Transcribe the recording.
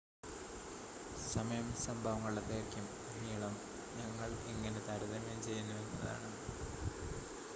സമയം സംഭവങ്ങളുടെ ദൈർഘ്യം നീളം ഞങ്ങൾ എങ്ങനെ താരതമ്യം ചെയ്യുന്നു എന്നതാണ്